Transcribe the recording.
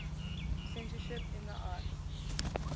censorship in the arts